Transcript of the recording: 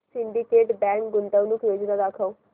Syndicate bank गुंतवणूक योजना दाखव